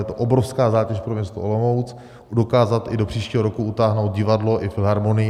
Je to obrovská zátěž pro město Olomouc dokázat i do příštího roku utáhnout divadlo i filharmonii.